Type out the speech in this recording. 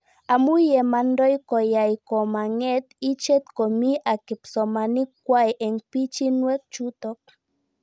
Amu ye mandoi koyae komang'et ichet komie ak kipsomanik kwai eng' pichinwek chutok